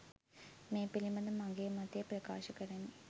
මේ පිලිබඳ මගේ මතය ප්‍රකාශ කරමි.